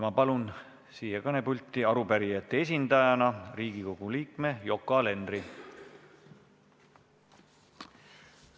Ma palun siia kõnepulti arupärijate esindajana Riigikogu liikme Yoko Alenderi!